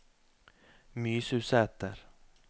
Mysusæter